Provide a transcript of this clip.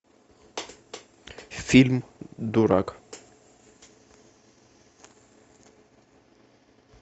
фильм дурак